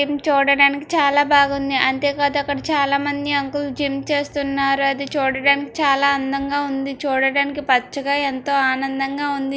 మ్ చూడడానికి చాలా బాగుంది. అంతేకాదు అక్కడ చాలా మంది అంకుల్ జిమ్ చేస్తున్నారు. అది చూడడానికి చాలా అందంగా ఉంది. చూడడానికి పచ్చగా ఎంతో ఆనందంగా ఉంది.